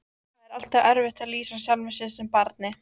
Það er alltaf erfitt að lýsa sjálfum sér sem barni.